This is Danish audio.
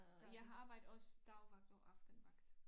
Men jeg har arbejdet også dagvagt og aftenvagt